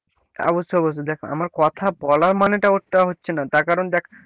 অবশ্য অবশ্য দেখ আমার কথার বলার মানেটা ওটা হচ্ছে না তার কারণ দেখ,